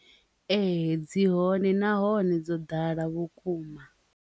Ee, dzi hone nahone dzo ḓala vhukuma.